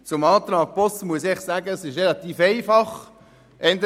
Zum Antrag Boss muss ich sagen, dass es relativ einfach ist.